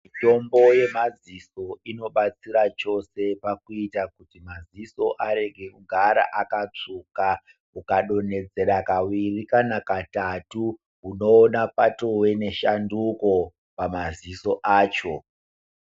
Mitombo yemadziso inobatsira chose pakuita kuti madziso arege kugara akatsvuka. Ukadonhedzera kaviri kana katatu, unoona patove neshanduko pamadziso acho.